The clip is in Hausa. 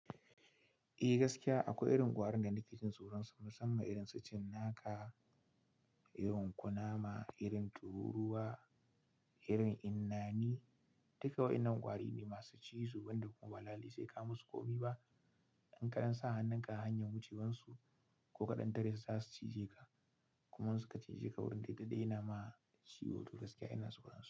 Eh gaskiya akwai irin ƙwarin da nake jin tsoronsa musamman irin su cinnaka, yunƙunama, irin tururuwa, irin innani. Duka waɗannan ƙwari ne masu cizo, wanda kuma balallai sai ka musu ƙomi ba. In ka ɗan sa hannun ka a hanyar wucewarsu ko ka ɗan tare su za su cije ka. Kuma in suka cije ka wurin daidai yana ma ciwo, to gaskiya ina tsoro.